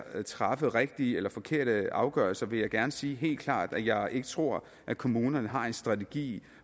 at træffe rigtige eller forkerte afgørelser vil jeg gerne sige helt klart at jeg ikke tror at kommunerne har en strategi